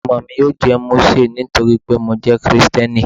Ọmọ mi yóò jẹ́ Mósè nítorí pé mo jẹ́ Kristẹni.